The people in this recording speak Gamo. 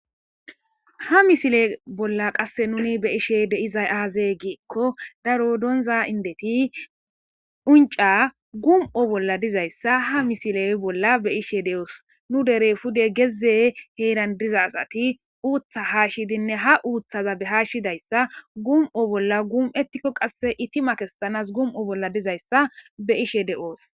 ha misile bolla qasse nuni be ishe deizay aazey giekko daro doonza indeti unca gum7o bolla dizayssa ha misiley bolla be ishe de7oos nu dere pude geze heeran diza axati uuththa haashshidinne ha uuthaza behaashshidayssa gum7o bolla gum7etikko qasse itti makestanas gum7o bolla dizayssa be ishe de7oos